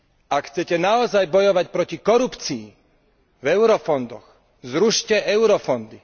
Ak chcete naozaj bojovať proti korupcii v eurofondoch, zrušte eurofondy.